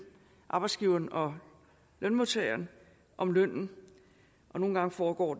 arbejdsgiveren og lønmodtageren om lønnen og nogle gange foregår